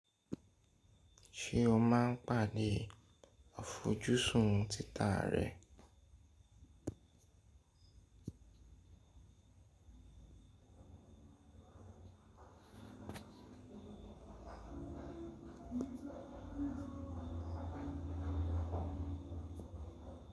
Ṣé o máa ń pàdé àfojúsùn títà rẹ?